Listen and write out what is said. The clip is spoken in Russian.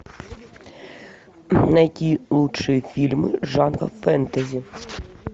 найти лучшие фильмы жанра фэнтези